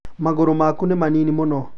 magũrũ maku nĩ manini mũno